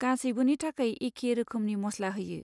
गासैबोनि थाखाय एखे रोखोमनि मस्ला होयो।